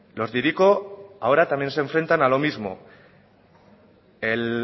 los de hiriko ahora también se enfrentan a lo mismo